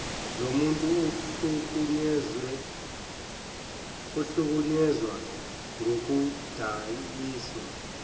lomuntu ohlukunyezwe ngokudayiswa